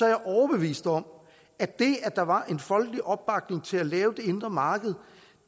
jeg overbevist om at det at der var en folkelig opbakning til at lave det indre marked